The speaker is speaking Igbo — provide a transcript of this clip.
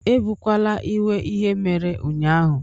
Ebukwala iwe ihe mere ụnyaahụ